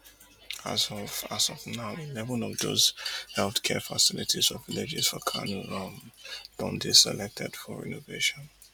as of as of now eleven of dose healthcare facilities for villages for kano um don dey selected for renovation